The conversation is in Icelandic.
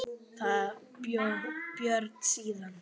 Þar bjó Björn síðan.